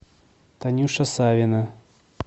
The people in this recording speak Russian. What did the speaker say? танюша савина